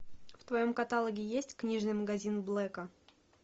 в твоем каталоге есть книжный магазин блэка